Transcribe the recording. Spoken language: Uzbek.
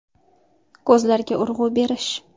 Ko‘zlarga urg‘u berish .